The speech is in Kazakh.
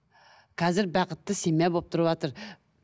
қазір бақытты семья болып тұрыватыр